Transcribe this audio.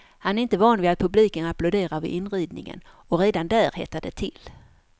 Han är inte van vid att publiken applåderar vid inridningen och redan där hettade det till.